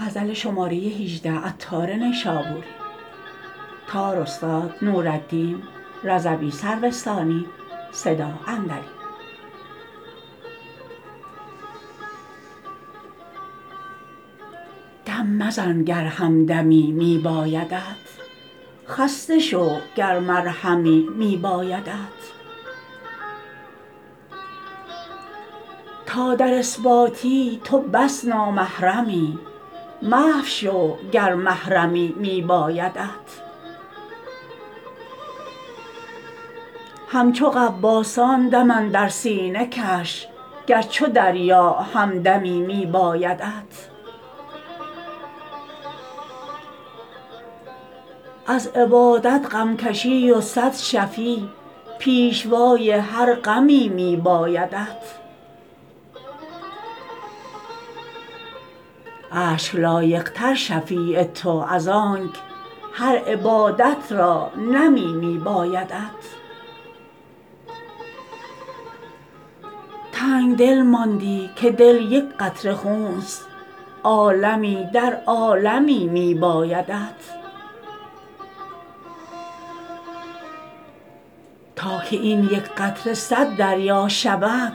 دم مزن گر همدمی می بایدت خسته شو گر مرهمی می بایدت تا در اثباتی تو بس نامحرمی محو شو گر محرمی می بایدت همچو غواصان دم اندر سینه کش گر چو دریا همدمی می بایدت از عبادت غم کشی و صد شفیع پیشوای هر غمی می بایدت اشک لایق تر شفیع تو از آنک هر عبادت را نمی می بایدت تنگدل ماندی که دل یک قطره خونست عالمی در عالمی می بایدت تا که این یک قطره صد دریا شود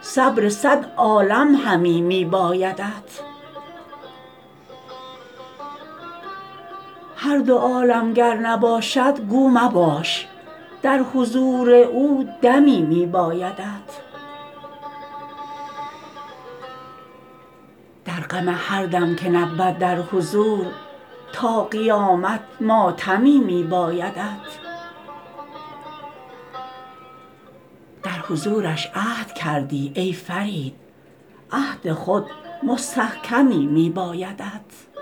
صبر صد عالم همی می بایدت هر دو عالم گر نباشد گو مباش در حضور او دمی می بایدت در غم هر دم که نبود در حضور تا قیامت ماتمی می بایدت در حضورش عهد کردی ای فرید عهد خود مستحکمی می بایدت